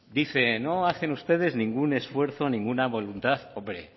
dice no hacen ustedes ningún esfuerzo ninguna voluntad hombre